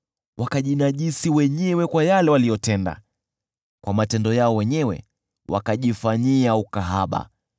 Wakajinajisi wenyewe kwa yale waliyotenda; kwa matendo yao wenyewe wakajifanyia ukahaba.